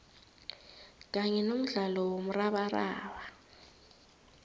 kanye nomdlalo womrabaraba